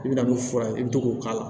I bɛna n'o fura ye i bɛ to k'o k'a la